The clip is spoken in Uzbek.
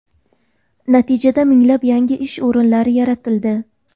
Natijada minglab yangi ish o‘rinlari yaratildi.